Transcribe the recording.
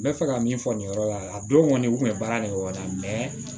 N bɛ fɛ ka min fɔ nin yɔrɔ la a don kɔni u tun bɛ baara nin kɛ o la